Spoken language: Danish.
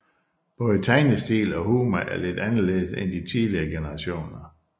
Både tegnestil og humor er lidt anderledes end de tidligere generationer